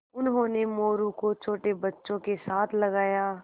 उन्होंने मोरू को छोटे बच्चों के साथ लगाया